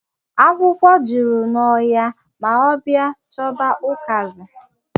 Akwụkwọ juru n'ọhịa ma ọ baa chọba ụkazi.